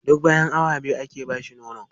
Duk bayan awa biyu ake ba shi nono.